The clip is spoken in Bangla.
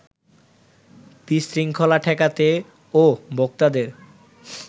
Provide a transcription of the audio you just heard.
বিশৃঙ্খলা ঠেকাতে ও ভোক্তাদের